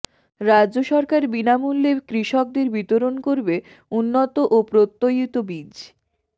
রাজ্য সরকার বিনামূল্যে কৃষকদের বিতরণ করবে উন্নত ও প্রত্যয়িত বীজ